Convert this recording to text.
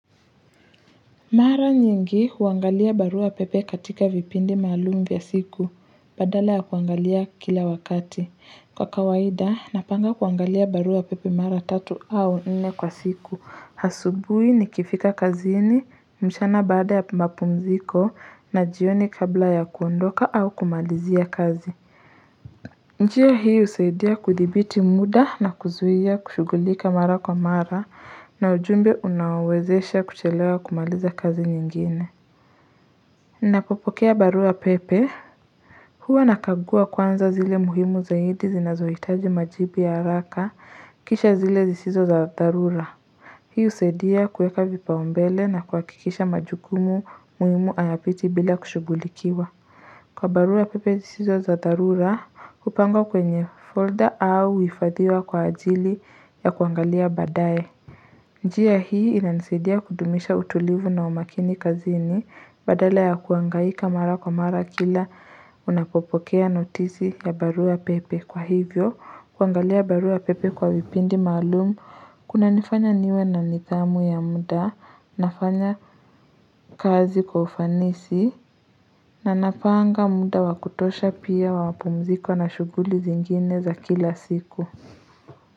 Mara nyingi huangalia barua pepe katika vipindi maalumu vya siku, badala ya kuangalia kila wakati. Kwa kawaida, napanga kuangalia barua pepe mara tatu au nene kwa siku. Asubuhi nikifika kazini, mchana baada ya mapumziko na jioni kabla ya kuondoka au kumalizia kazi. Njia hii husaidia kudhibiti muda na kuzuia kushugulika mara kwa mara na ujumbe unaowezesha kuchelewa kumaliza kazi nyingine. Napopokea barua pepe, huwa nakagua kwanza zile muhimu zaidi zinazoitaji majibu ya haraka kisha zile zisizo za dharura. Hii husaidia kueka vipaumbele na kuhakikisha majukumu muhimu hayapiti bila kushugulikiwa. Kwa barua pepe zisizo za dharura kupangwa kwenye folder au huhifadhiwa kwa ajili ya kuangalia badae njia hii inanisaidia kudumisha utulivu na umakini kazini badala ya kuhangaika mara kwa mara kila unapopokea notizi ya barua pepe kwa hivyo kuangalia barua pepe kwa vipindi maalumu kunanifanya niwe na nidhamu ya muda nafanya kazi kwa ufanisi na napanga muda wa kutosha pia wa pumziko na shughuli zingine za kila siku.